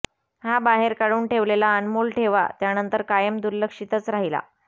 हा बाहेर काढून ठेवलेला अनमोल ठेवा त्यानंतर कायम दुर्लक्षितच राहिला